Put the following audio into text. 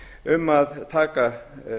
um að taka